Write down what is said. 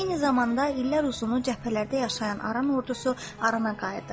Eyni zamanda illər uzunu cəbhələrdə yaşayan Aran ordusu Arana qayıdırdı.